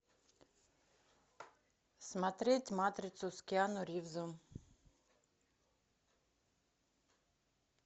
смотреть матрицу с киану ривзом